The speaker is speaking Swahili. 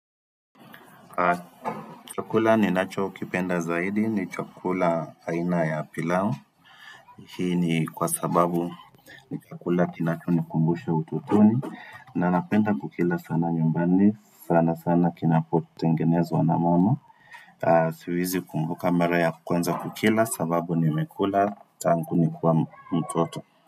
Chakula ninacho kipenda zaidi ni chakula aina ya pilau Hii ni kwa sababu ni chakula kinacho ni kumbusha utotoni na napenda kukila sana nyumbani, sana sana kinapotengenezwa na mama Siwezi kumbuka mara ya kwanza kukila sababu nimekula tangu nikiwa mtoto.